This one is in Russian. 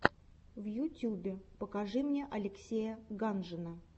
в ютюбе покажи мне алексея ганжина